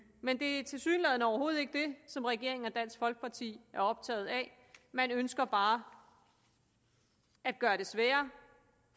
men det er tilsyneladende overhovedet ikke det som regeringen og dansk folkeparti er optaget af man ønsker bare at gøre det sværere